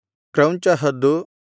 ಕ್ರೌಂಚ ಹದ್ದು